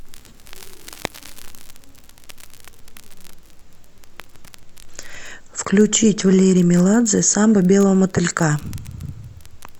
включить валерий меладзе самба белого мотылька